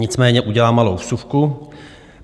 Nicméně udělám malou vsuvku.